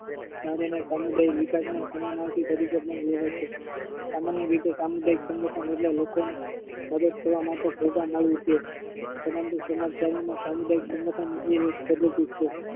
સમુદાયી વિકાશ માં સમાર્નાથી તરીકે પણ લેવાય છે. સામાન્ય રીતે સામુદાયિક સંગઠન એટલે લોકોને મદદ કરવા માટે ભેગા મળી તે સબંધી સમાજચારી માં સામુદાયિક સંગઠન એ એક પદ્ધતિ છે.